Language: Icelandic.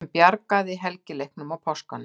SEM BJARGAÐI HELGILEIKNUM Á PÁSKUNUM.